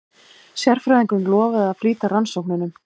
Sérfræðingurinn lofaði að flýta rannsóknunum.